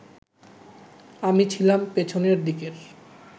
আমি ছিলাম পেছনের দিকের